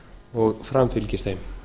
og framfylgir þeim